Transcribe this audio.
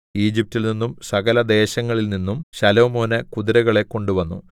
ഈജിപ്റ്റിൽനിന്നും സകലദേശങ്ങളിൽ നിന്നും ശലോമോന് കുതിരകളെ കൊണ്ടുവന്നു